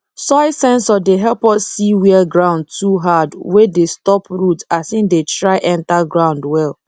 soil sensor dey help us see where ground too hard wey dey stop root as e dey try enter ground well